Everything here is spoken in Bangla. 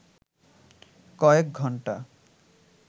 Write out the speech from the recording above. কয়েক ঘণ্টা